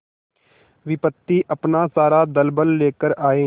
विपत्ति अपना सारा दलबल लेकर आए